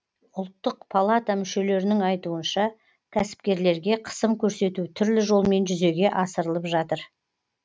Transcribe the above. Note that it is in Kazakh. ұлттық палата мүшелерінің айтуынша кәсіпкерлерге қысым көрсету түрлі жолмен жүзеге асырылып жатыр